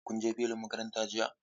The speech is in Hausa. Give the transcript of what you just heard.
Kun je filin makaranta jiya?